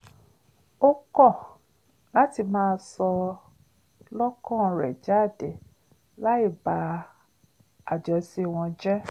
ó kọ́ láti máa sọ lọ́kàn rẹ̀ jáde láì ba àjọṣe wọn jẹ́